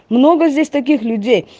много здесь таких людей